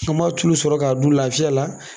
Komi a t'olu sɔrɔ k'o dun lafiya la